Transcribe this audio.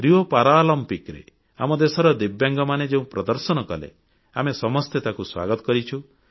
Rio ପାରାଅଲିମ୍ପିକରେ ଆମ ଦେଶର ଦିବ୍ୟାଙ୍ଗମାନେ ଯେଉଁ ପ୍ରଦର୍ଶନ କଲେ ଆମେ ସମସ୍ତେ ତାଙ୍କୁ ସ୍ୱାଗତ କରିଛୁ